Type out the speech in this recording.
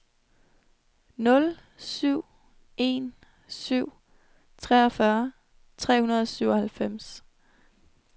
nul syv en syv treogfyrre tre hundrede og syvoghalvfems